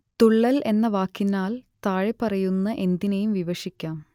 തുള്ളൽ എന്ന വാക്കിനാൽ താഴെപ്പറയുന്ന എന്തിനേയും വിവക്ഷിക്കാം